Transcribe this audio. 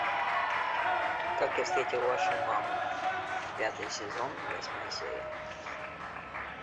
как я встретил вашу маму пятый сезон восьмая серия